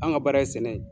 An ka baara ye sɛnɛ ye